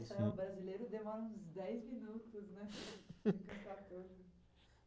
Não, o brasileiro demorou uns dez minutos, né?